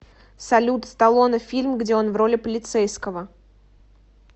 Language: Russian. салют сталлоне фильм где он в роли полицейского